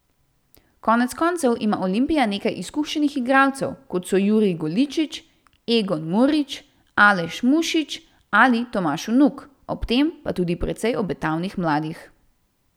Konec koncev ima Olimpija nekaj izkušenih igralcev, kot so Jurij Goličič, Egon Murič, Aleš Mušič ali Tomaž Vnuk, ob tem pa tudi precej obetavnih mladih.